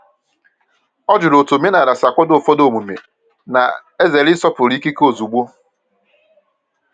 O jụrụ otu omenala si akwado ụfọdụ omume, na-ezere ịsọpụrụ ikike ozugbo.